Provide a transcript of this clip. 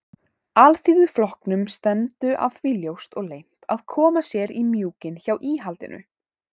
Alþýðuflokknum stefndu að því ljóst og leynt að koma sér í mjúkinn hjá íhaldinu.